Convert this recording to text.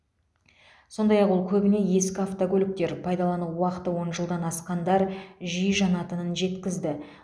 сондай ақ ол көбіне ескі автокөліктер пайдалану уақыты он жылдан асқандар жиі жанатынын жеткізді